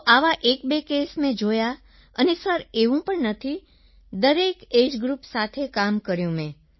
તો આવા 12 કેસ મેં જોયા સર અને એવું પણ નથી દરેક એજીઇ ગ્રુપ સાથે કામ કર્યું સર મેં